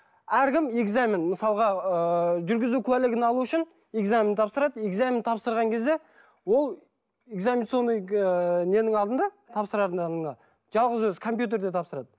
әркім экзамен мысалға ыыы жүргізу куәлігін алу үшін экзамен тапсырады экзамен тапсырған кезде ол экзаменационный ыыы ненің алдында тапсырардың алдында жалғыз өзі компьютерде тапсырады